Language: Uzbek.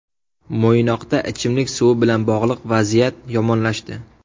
Mo‘ynoqda ichimlik suvi bilan bog‘liq vaziyat yomonlashdi.